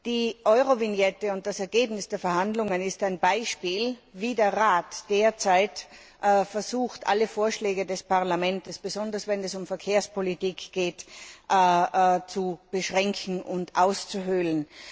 Die Eurovignette und das Ergebnis der Verhandlungen ist ein Beispiel, wie der Rat derzeit versucht, alle Vorschläge des Parlaments, besonders wenn es um Verkehrspolitik geht, zu beschränken und auszuhöhlen.